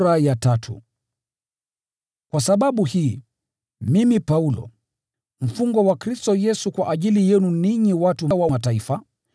Kwa sababu hii, mimi Paulo, mfungwa wa Kristo Yesu kwa ajili yenu ninyi watu wa Mataifa: